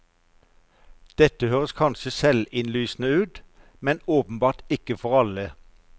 Dette høres kanskje selvinnlysende ut, men åpenbart ikke for alle.